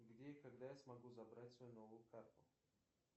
где и когда я смогу забрать свою новую карту